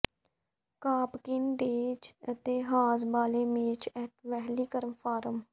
ਕਾਪਕਿਨ days ਅਤੇ hay bale maze at Wheeler farm